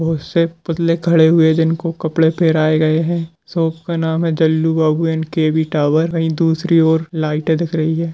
बहुत से पुतले खड़े हुए है जिनको कपड़े फहराये गए है शॉप का नाम है Jallu Babu and K V. Tower वही दूसरी ओर लाइट दिख रही है।